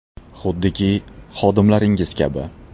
Xuddiki, xodimlaringiz kabi.